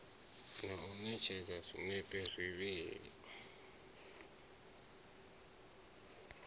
na u ṋekedza zwinepe zwivhili